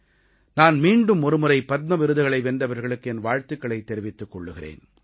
நான் மீண்டும் ஒருமுறை பத்ம விருதுகளை வென்றவர்களுக்கு என் வாழ்த்துக்களைத் தெரிவித்துக் கொள்கிறேன்